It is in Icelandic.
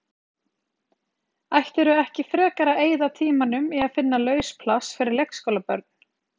Ættirðu ekki frekar að eyða tímanum í að finna laus pláss fyrir leikskólabörn?